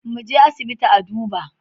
Muje asibiti a duba